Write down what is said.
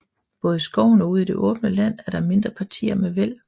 Både i skoven og ude i det åbne land er der mindre partier med væld